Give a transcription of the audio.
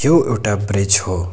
यो एउटा ब्रिज हो।